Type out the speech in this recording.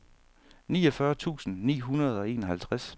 niogfyrre tusind ni hundrede og enoghalvtreds